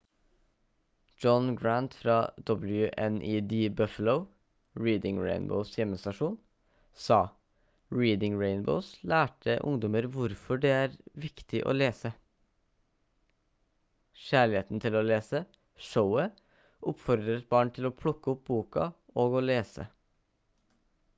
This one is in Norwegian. john grant fra wned buffalo reading rainbows hjemmestasjon sa «reading rainbow lærte ungdommer hvorfor det er viktig å lese ... kjærligheten til å lese – [showet] oppfordret barn til å plukke opp boka og å lese»